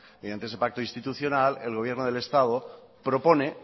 el gobierno del estado propone